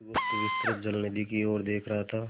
बुधगुप्त विस्तृत जलनिधि की ओर देख रहा था